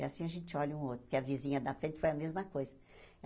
E assim a gente olha um ao outro, porque a vizinha da frente foi a mesma coisa.